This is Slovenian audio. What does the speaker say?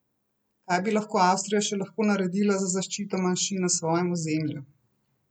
Kaj bi lahko Avstrija še lahko naredila za zaščito manjšin na svojem ozemlju?